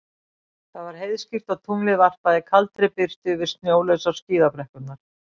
Það var heiðskírt og tunglið varpaði kaldri birtu yfir snjólausar skíðabrekkurnar.